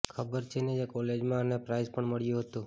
ખબર છે ને કોલેજમાં એને પ્રાઈઝ પણ મળ્યું હતું